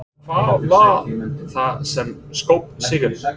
En hvað varð það sem skóp sigurinn?